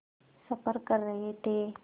सफ़र कर रहे थे